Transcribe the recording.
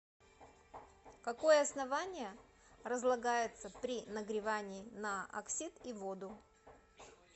какое основание разлагается при нагревании на оксид и воду